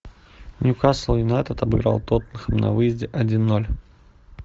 ньюкасл юнайтед обыграл тоттенхэм на выезде один ноль